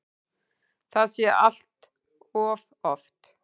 Það sé allt of oft.